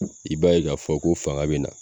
I b'a ye ka fɔ ko fanga bɛ na.